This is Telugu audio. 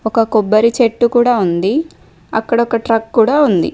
ఒక కొబ్బరి చెట్టు కూడా ఉంది అక్కడ ఒక ట్రక్ కూడా ఉంది.